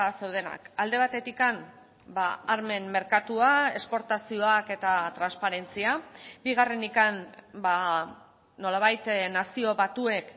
zeudenak alde batetik armen merkatua esportazioak eta transparentzia bigarrenik nolabait nazio batuek